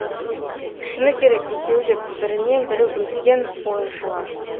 шыны керек екеуі де бірінен бірі өткен ойыншылар